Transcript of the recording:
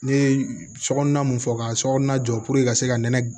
Ne ye sokɔnɔna mun fɔ ka sokɔnɔna jɔ puruke ka se ka nɛnɛ